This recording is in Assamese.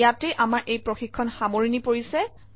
ইয়াতে আমাৰ এই প্ৰশিক্ষণৰ সামৰণি পৰিছে